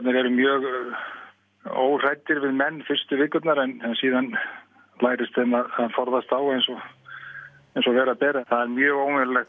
eru mjög óhræddir við menn fyrstu vikurnar en síðan lærist þeim að forðast þá eins og vera ber það er mjög óvenjulegt